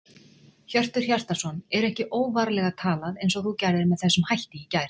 Hjörtur Hjartarson: Er ekki óvarlega talað eins og þú gerðir með þessum hætti í gær?